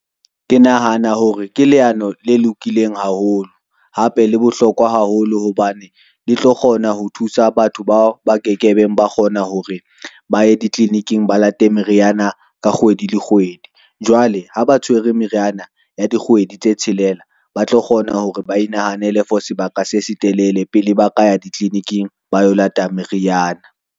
Ke nahana hore ke leano le lokileng haholo. Hape le bohlokwa haholo hobane le tlo kgona ho thusa batho bao ba ke ke beng ba kgona hore ba ye ditliliniking ba late meriyana ka kgwedi le kgwedi. Jwale ha ba tshwere meriana ya dikgwedi tse tshelela, ba tlo kgona hore ba inahanele for sebaka se se telele pele ba ka ya ditliliniking ba yo late meriyana.